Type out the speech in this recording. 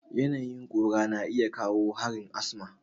Yanayin ƙura na iya kawo harin asma.